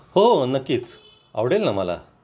हो हो नक्कीच, आवडेलना मला